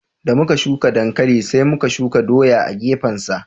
Da muka shuka dankali sai muka shuka doya a gefen sa